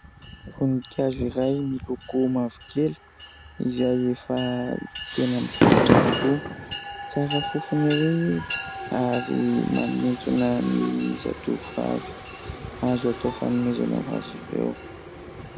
Voninkazo iray miloko mavokely izay efa tena mivelatra tokoa, tsara fofona ery ary manintona ny zatovovavy, azo atao fanomezana ho azy ireo.